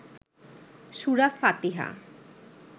সুরা ফাতিহা